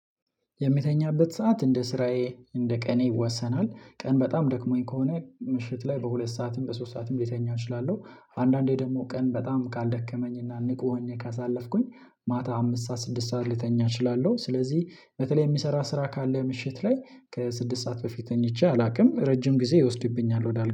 የምተኛበት ሰዓት እንደ ስራዬ እንደ ቀኔ ይወሰናል ቀን በጣም ደክሞኝ ከሆነ ምሽት ላይ በሁለት ሰዓትም በሶስት ሰዓትም ልተኛ እችላለሁ። አንዳንዴ ደግሞ ቀን በጣም ካልደከመኝ እና ንቁ ሆኜ ካሳለፍኩኝ። ማታ አምስት ሰዓት ስድስት ሰዓት ልተኛ እችላለሁ። ስለዚህ በተለይ የሚሰራ ስራ ካለ ምሽት ላይ ከስድስት ሰዓት በፊት ተኝቼ አላውቅም ረጅም ጊዜ ይወስድብኛል ወዳል